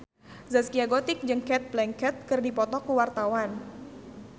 Zaskia Gotik jeung Cate Blanchett keur dipoto ku wartawan